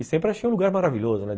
E sempre achei um lugar maravilhoso, né?